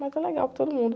Mas é legal para todo mundo.